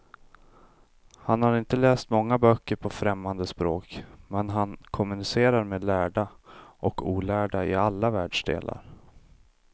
Han har inte läst många böcker på främmande språk, men han kommunicerar med lärda och olärda i alla världsdelar.